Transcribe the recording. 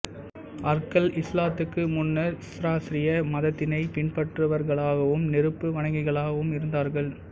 அர்கள் இஸ்லாத்துக்கு முன்னர் ஸெராஸ்ரிய மதத்தினை பின்பற்றுபவர்களாகவும் நெருப்பு வணங்கிகளாகவும் இருந்தார்கள்